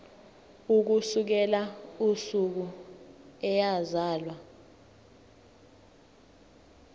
ukusukela usuku eyazalwa